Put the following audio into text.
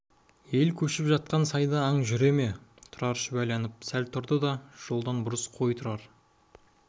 ел көшіп жатқан сайда аң жүре ме тұрар шүбәланып сәл тұрды да жолдан бұрыс қой тұрар